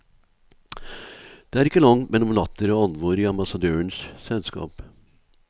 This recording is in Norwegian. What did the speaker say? Det er ikke langt mellom latter og alvor i ambassadørens selskap.